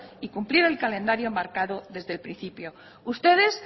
y cumplir el calendario marcado desde el principio ustedes